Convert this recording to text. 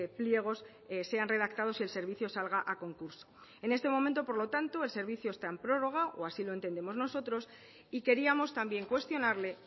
pliegos sean redactados y el servicio salga a concurso en este momento por lo tanto el servicio está en prórroga o así lo entendemos nosotros y queríamos también cuestionarle